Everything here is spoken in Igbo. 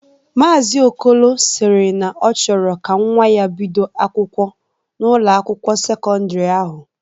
Maazi Okolo sịrị ya na ọ chọrọ ka nwa ya bido akwụkwọ n'Ụlọ akwụkwọ sekọndrị ahu.